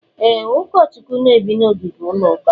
E, Ụkọchukwu n'ebi na ogige ụlọ ụka